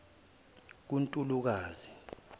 kuntulukazi